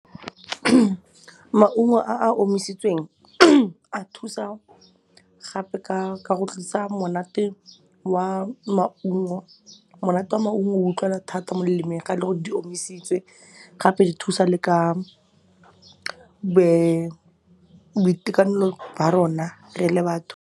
Maungo a a omisitsweng a thusa gape ka go tlisa monate wa maungo. Monate wa maungo o utlwala thata mo lelemeng ga e le gore di omisitswe gape di thusa le ka boitekanelo jwa rona re le batho.